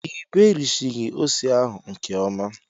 i berighi ose ahu nke ọma